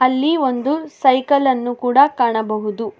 ಅಲ್ಲಿ ಒಂದು ಸೈಕಲ್ ಅನ್ನು ಕೂಡ ಕಾಣಬಹುದು.